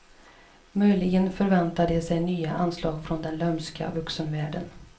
Möjligen förväntar de sig nya anslag från den lömska vuxenvärlden.